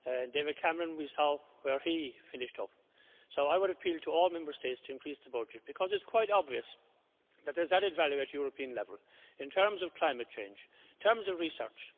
David Cameron we saw where he finished up. I would appeal to all Member States to increase the budget because it's quite obvious that there is added value at European level in terms of climate change, in terms of research.